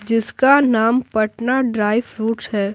जिसका नाम Patna dry fruits है।